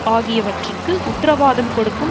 ஆகியவற்றுக்கு உத்திரவாதம் கொடுக்கும்